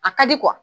A ka di